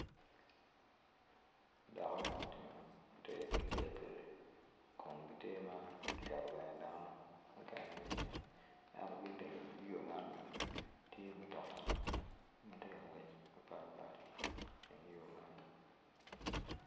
Dako ma otingo ter ki pikpiki kun gitye ma oketo bene dano mukene bene iye ento ki iteng yo man bene tye mutoka ma ti kangwec mapatpat iteng yo man